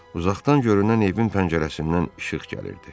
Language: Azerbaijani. Uzaqdan görünən evin pəncərəsindən işıq gəlirdi.